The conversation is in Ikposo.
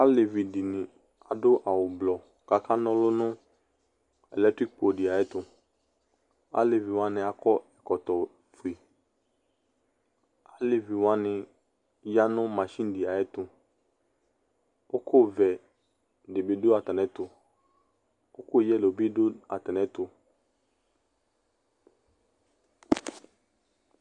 Alevi dɩnɩ adʋ awʋ blɔ, kʋ akana ɔlʋ nʋ latikpo dɩ ayʋ ɛtʋ Alevi wanɩ akɔ ɛkɔtɔ fue, alevi wanɩ ya nʋ masini dɩ ayʋ ɛtʋ, kʋ ʋkʋ vɛ dɩ bɩ dʋ atamɩ ɛtʋ, ʋkʋ yelo bɩ dʋ atamɩ ɛtʋ